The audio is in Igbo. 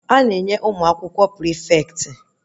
A na-enye ụmụ akwụkwọ prịfeti